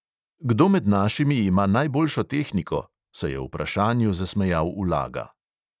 "Kdo med našimi ima najboljšo tehniko?" se je vprašanju zasmejal ulaga.